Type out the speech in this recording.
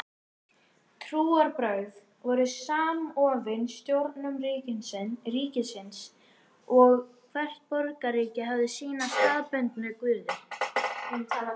Trúarbrögð voru samofin stjórnun ríkisins og hvert borgríki hafði sína staðbundnu guði.